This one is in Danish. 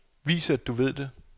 Vis at du ved det.